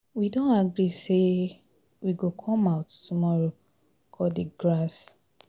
We don agree say we go come out tomorrow cut the grass